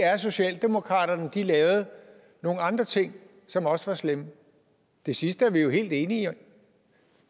er at socialdemokratiet lavede nogle andre ting som også var slemme det sidste er vi helt enige om